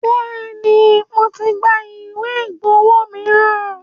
Bẹ́ẹ̀ni, mo ti gba ìwé ìgbọ́wo miran.